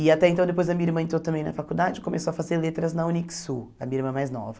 E até então, depois a minha irmã entrou também na faculdade, começou a fazer letras na Unicsul, a minha irmã mais nova.